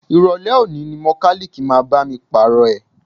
Ìrọ̀lẹ́ òní ni mọkálíìkì máa bá mi Pààrọ̀ ẹ̀